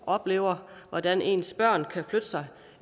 oplevet hvordan ens børn kan flytte sig